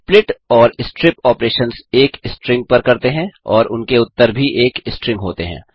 split और strip operations एक string पर करते हैं और उनके उत्तर भी एक स्ट्रिंग होते हैं